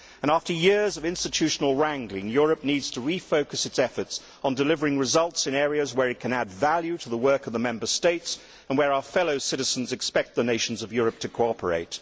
After years of institutional wrangling, Europe needs to refocus its efforts on delivering results in areas where it can add value to the work of the Member States, and where our fellow citizens expect the nations of Europe to cooperate.